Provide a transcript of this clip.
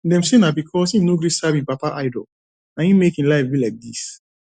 dem say na because im no gree serve im papa idol na im make im life dey like dis